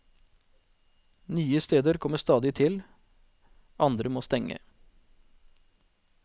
Nye steder kommer stadig til, andre må stenge.